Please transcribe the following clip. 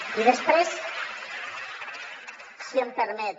i després si m’ho permet